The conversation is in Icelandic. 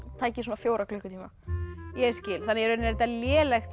tæki svona fjóra klukkutíma í rauninni er þetta lélegt